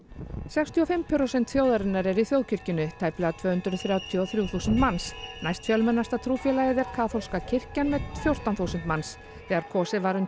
sextíu og fimm prósent þjóðarinnar eru í þjóðkirkjunni tæplega tvö hundruð þrjátíu og þrjú þúsund manns næstfjölmennasta trúfélagið er kaþólska kirkjan með fjórtán þúsund manns þegar kosið var um